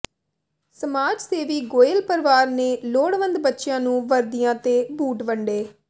ਸਮਾਜ ਸੇਵੀ ਗੋਇਲ ਪਰਿਵਾਰ ਨੇ ਲੋੜਵੰਦ ਬੱਚਿਆਂ ਨੂੰ ਵਰਦੀਆਂ ਤੇ ਬੂਟ ਵੰਡੇ